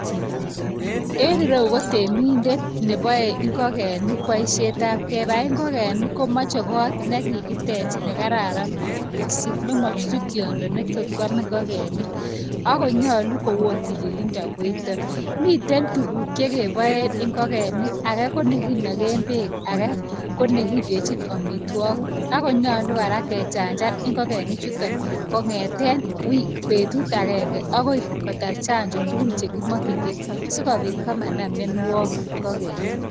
Enereyu ko temindet nebae ingokenik paishet ab kebai ingokenik komeche kot nee kikitech nee kararan kot missing nee machutu toyndo ibkwam ingokenik akonyalu koo oo tililinda koitak miite tuguk chekebae ingokenik ake konekikachinee bek ake konekindachin amitwakik akonyalu kora kee chanjan ingongenik chutak kongetee betuk angenge akoi kotar chanjo tugul chee kimachin ngee asiikopit komanda mianwakik eng ingogenik